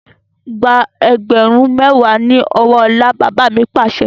Gba ẹgbẹ̀rún mẹwa ni ọwọ́ ọlá! Bàbá mi Pàṣẹ.